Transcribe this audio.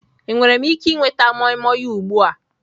Enwere m ike ịnweta moimoi ugbu a?